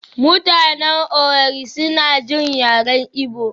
mutanen Owerri suna jin yaren Igbo